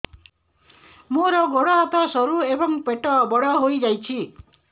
ମୋର ଗୋଡ ହାତ ସରୁ ଏବଂ ପେଟ ବଡ଼ ହୋଇଯାଇଛି